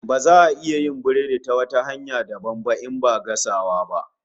Baza a iya yin biredi ta wata hanya dabam ba in ba gasawa ba